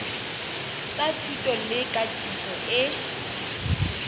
tsa thuto le katiso e